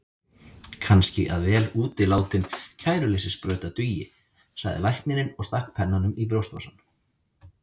Kannski að vel útilátin kæruleysissprauta dugi, sagði læknirinn og stakk pennanum í brjóstvasann.